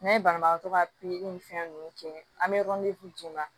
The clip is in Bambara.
N'an ye banabagatɔ ka pikiri ni fɛn nunnu kɛ an bɛ d'i ma